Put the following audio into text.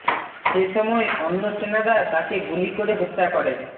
সে সময় অন্য সেনারা তাকে গুলি করে হত্যা করে